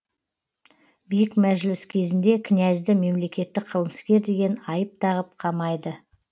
биік мәжіліс кезінде князьді мемлекеттік қылмыскер деген айып тағып қамайды